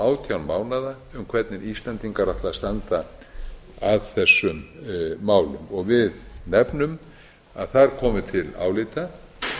átján mánaða um hvernig íslendingar ætla að standa að þessum málum við nefnum að þar komi til álita